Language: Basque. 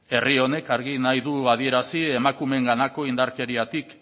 herri honek argi nahi du adierazi emakumeenganako indarkeriatik